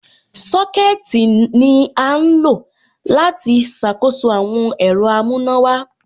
Sọ́kẹ̀tì ní à ń lọ láti ṣàkóso àwọn ẹ̀rọ amùnàwà.